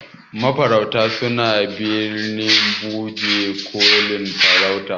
mafarauta suna bikin bajekolin farauta